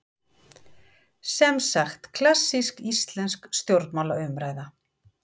Semsagt klassísk íslensk stjórnmálaumræða.